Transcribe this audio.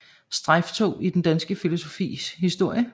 Strejftog i den danske filosofis historie